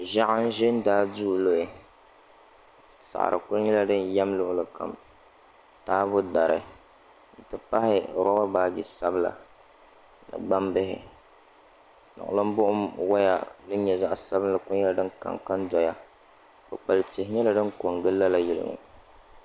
Ʒiɛɣu n ʒɛ n daai duu luɣi saɣari ku nyɛla din yɛm luɣuli kam taabo daru n ti pahi roba baaji sabila ni gbambihi niɣilim buɣum woya din nyɛ zaɣ sabinli ku nyɛla din kanka n diya kpukpali tihi ku nyɛla din ko n gili lala yili ŋɔ